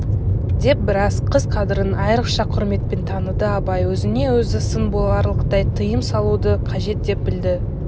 деп біраз қыз қадірін айрықша құрметпен таныды абай өзіне-өзі сын боларлықтай тыйым салуды қажет деп білді